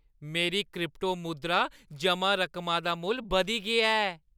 मेरी क्रिप्टो मुद्रा जमा रकमा दा मुल्ल बधी गेआ ऐ ।